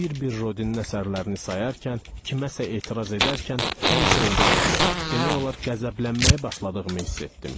Bir-bir Rodinin əsərlərini sayarkən, kiməsə etiraz edərkən həmişə olduğu kimi, demək olar qəzəblənməyə başladığımı hiss etdim.